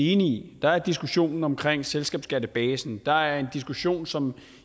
enige i der er diskussionen omkring selskabsskattebasen der er en diskussion som